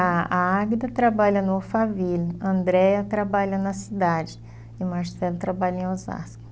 A Águida trabalha no Alphaville, a Andréia trabalha na cidade e o Marcelo trabalha em Osasco.